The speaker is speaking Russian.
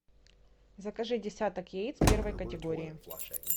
закажи десяток яиц первой категории